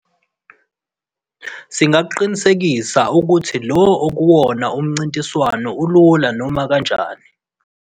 Singakuqinisekisa ukuthi lo akuwona umncintiswano olula noma kanjani.